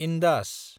Indus